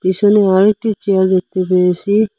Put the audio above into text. পিসনে আরও একটি চেয়ার দেখতে পেয়েসি।